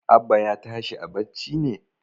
Abba ya tashi a barci ne?